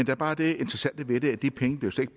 er bare det interessante ved det at de penge jo slet